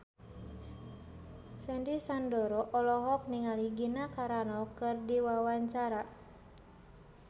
Sandy Sandoro olohok ningali Gina Carano keur diwawancara